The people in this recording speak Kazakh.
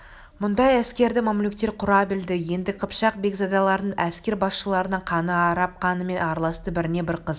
мұндай әскерді мамлюктер құра білді енді қыпшақ бекзадаларының әскер басшыларының қаны араб қанымен араласты біріне-бірі қыз